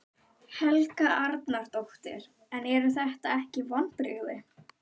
Helga Arnardóttir: En eru þetta ekki vonbrigði?